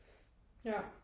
Ja